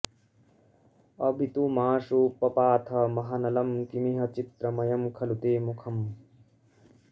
अवितुमाशु पपाथ महानलं किमिह चित्रमयं खलु ते मुखम्